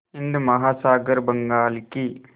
हिंद महासागर बंगाल की